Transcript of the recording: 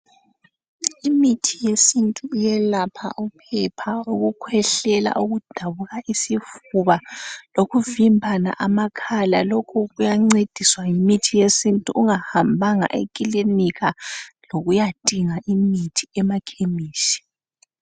Imithi yesintu iyelapha iphepha , ukukhwehlela , ukudabuka isifuba lokuvimbana amakhala lokhu kuyancediswa yimithi yesintu ungahambanga ekilinika lokuyadinga ekhemisi.